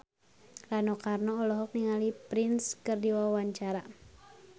Rano Karno olohok ningali Prince keur diwawancara